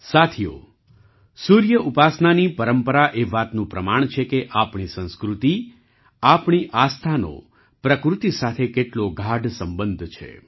સાથીઓ સૂર્ય ઉપાસનાની પરંપરા એ વાતનું પ્રમાણ છે કે આપણી સંસ્કૃતિ આપણી આસ્થાનો પ્રકૃતિ સાથે કેટલો ગાઢ સંબંધ છે